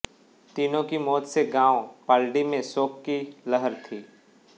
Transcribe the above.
तीनों की मौत से गांव पालड़ी में शोक की लहर थी